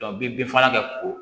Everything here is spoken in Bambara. i bɛ bin fagala kɛ ko